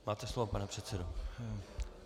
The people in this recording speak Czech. Máte slovo, pane předsedo.